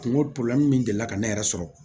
Kungo min delila ka ne yɛrɛ sɔrɔ